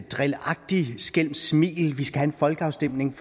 drilagtigt skælmsk smil vi skal have en folkeafstemning